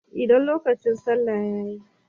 Idan lokacin salla yayi.